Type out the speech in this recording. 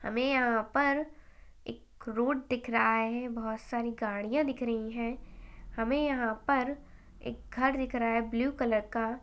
हमे यहाँ पर एक रोड दिख रहा है बहोत सारी गाड़ियां दिख रही है हमे यहाँ पर एक घर दिख रहा है ब्लू कलर का।